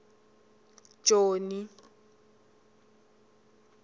joni